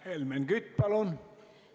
Helmen Kütt, palun!